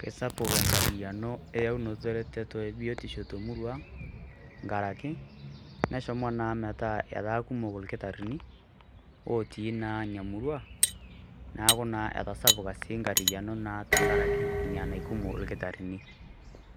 Kesapuk enkarriano eyeunoto ereteto ebiotisho ngaraki neshomo naa metaa ataa kumok lkitarini otii naa inia murrua, naaku naa etasupuka siii enkarriano naa tengaraki ina nekumo irkitarini,